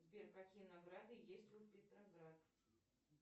сбер какие награды есть у петроград